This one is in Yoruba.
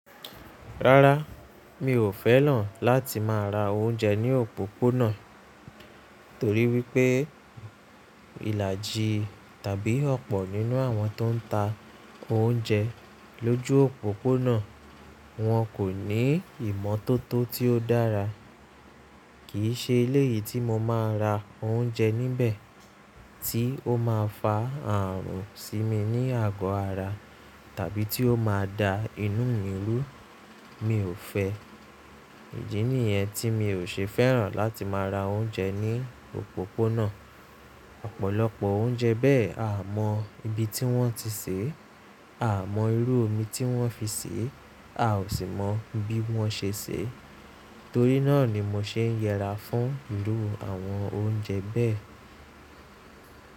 Rárá, mi ò fẹ́ràn láti máa ra oúnjẹ ní òpópónà, torí wípé ìlàjì tàbí ọ̀pọ̀ nínú àwọn tó ń ta oúnjẹ lójú òpópónà, wọn kò ní ìmọ́tótó tí ó dára. Kì í ṣe eléyìí tí mo máa ra oúnjẹ níbẹ̀ tí ó máa fa ààrùn sí mi ní àgọ ara tàbí tí ó máa da inú mi rú. Mi ò fẹ́. Èyí nìyẹn tí mi ò ṣe fẹ́ràn láti máa ra oúnjẹ ní òpópónà. Ọ̀pọ̀lọpọ̀ oúnjẹ bẹ́ẹ̀ a mọ ibi tí wọ́n ti sèé, a mọ irú omi tí wọ́n fi sèé, a ò sì mọ bí wọ́n ṣe sèé. Torí náà ni mo ṣe ń yẹra fún ìrú àwọn oúnjẹ bẹ́ẹ̀.